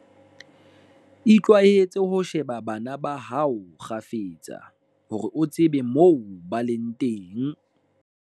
Itlwaetse ho sheba bana ba hao kgafetsa, hore o tsebe moo ba leng teng.